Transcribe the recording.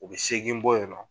U bɛ seegin bɔ yen nɔ.